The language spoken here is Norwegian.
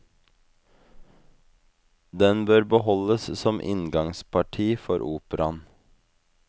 Den bør beholdes som inngangsparti for operaen.